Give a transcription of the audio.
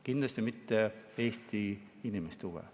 Kindlasti mitte Eesti inimeste huve.